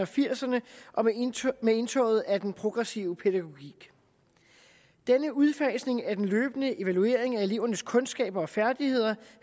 firserne med indtoget af den progressive pædagogik denne udfasning af den løbende evaluering af elevernes kundskaber og færdigheder